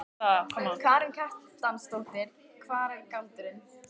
Karen Kjartansdóttir: Hver er galdurinn?